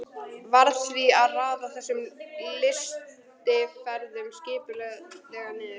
Varð því að raða þessum lystiferðum skipulega niður.